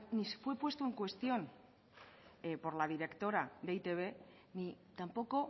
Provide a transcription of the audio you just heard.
ni fue puesto en cuestión por la directora de e i te be ni tampoco